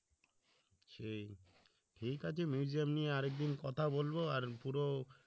সেই ঠিক আছে museum নিয়ে আরেকদিন কথা বলবো, আর পুরো